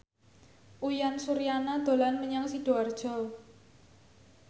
Uyan Suryana dolan menyang Sidoarjo